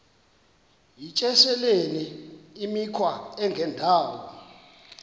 yityesheleni imikhwa engendawo